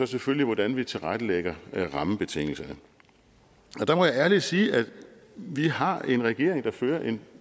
selvfølgelig hvordan vi tilrettelægger rammebetingelserne der må jeg ærligt sige at vi har en regering der fører en